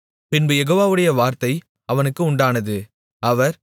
பின்பு யெகோவாவுடைய வார்த்தை அவனுக்கு உண்டானது அவர்